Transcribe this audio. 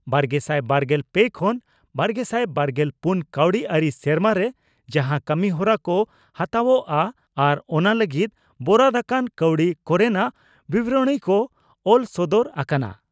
ᱵᱟᱨᱜᱮᱥᱟᱭ ᱵᱟᱨᱜᱮᱞ ᱯᱮ ᱠᱷᱚᱱ ᱵᱟᱨᱜᱮᱥᱟᱭ ᱵᱟᱨᱜᱮᱞ ᱯᱩᱱ ᱠᱟᱹᱣᱰᱤ ᱟᱹᱨᱤ ᱥᱮᱨᱢᱟᱨᱮ ᱡᱟᱦᱟᱸ ᱠᱟᱹᱢᱤᱦᱚᱨᱟ ᱠᱚ ᱦᱟᱛᱟᱣᱜᱼᱟ ᱟᱨ ᱚᱱᱟ ᱞᱟᱹᱜᱤᱫ ᱵᱚᱨᱟᱫ ᱟᱠᱟᱱ ᱠᱟᱹᱣᱰᱤ ᱠᱚᱨᱮᱱᱟᱜ ᱵᱤᱵᱚᱨᱚᱬᱤ ᱠᱚ ᱚᱞ ᱥᱚᱫᱚᱨ ᱟᱠᱟᱱᱟ ᱾